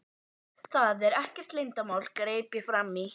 Það er ekkert leyndarmál, greip ég fram í.